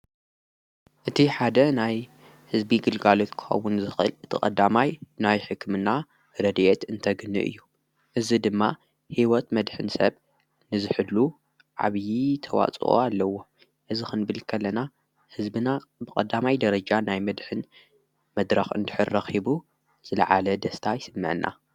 እቲ ሓደ ናይ ሕዝቢ ግልጋልት ክውን ዝኽል እቲ ቐዳማይ ናይ ሕክምና ረድየት እንተግኖ እዩ እዝ ድማ ሕይወት መድኅን ሰብ ንዝሕሉ ዓብዪ ተዋፅኦ ኣለዎ እዝ ኽንብልከለና ሕዝብና ብቐዳማይ ደረጃ ናይ መድኅን መድራኽ እንድኅረሂቡ ዘለዓለ ደስታ ኣይስምዐና።